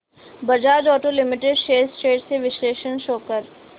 Bajaj auto limited shares trends चे विश्लेषण show कर